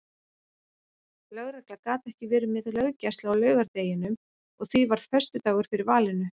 Lögregla gat ekki verið með löggæslu á laugardeginum og því varð föstudagur fyrir valinu.